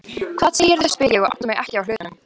Hvað segirðu? spyr ég og átta mig ekki á hlutunum.